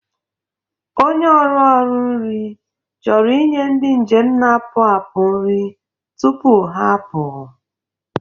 ọnye ọrụ ọrụ nri chọrọ inye ndị njem na-apụ apụ nri tupuha apụ.